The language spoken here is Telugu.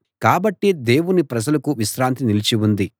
కాబట్టి దేవుని ప్రజలకు విశ్రాంతి నిలిచి ఉంది